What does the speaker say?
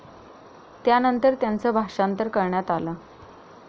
त्यानंतर त्याचं भाषांतर करण्यात आलं.